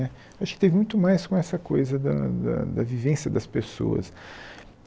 Acho que teve muito mais com essa coisa da da da vivência das pessoas.